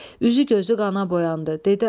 Üzü gözü qana boyandı.